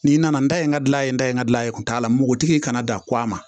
N'i nana n da ye n ka gila ye n da ye n ka gilan ye kun t'a la npogotigi kana dan ko a ma